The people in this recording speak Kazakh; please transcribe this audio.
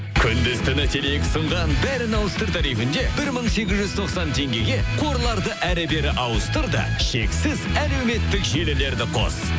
күндіз түні теле екі ұсынған бәрін ауыстыр тарифінде бір мың сегіз жүз тоқсан теңгеге қорларды әрі бері ауыстыр да шексіз әлеуметтік желілерді қос